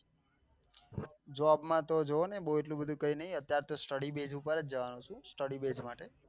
job માં તો જોવોને બૌ એટલું બધું કઈ નઈ અત્યાર તો studybase ઉપર જ જવાનું છે studybase માટે